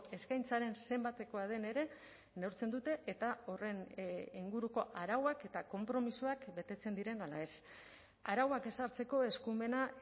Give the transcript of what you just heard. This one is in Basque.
eskaintzaren zenbatekoa den ere neurtzen dute eta horren inguruko arauak eta konpromisoak betetzen diren ala ez arauak ezartzeko eskumena